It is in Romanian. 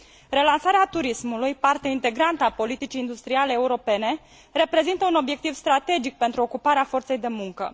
Relansarea turismului, parte integrantă a politicii industriale europene, reprezintă un obiectiv strategic pentru ocuparea forței de muncă.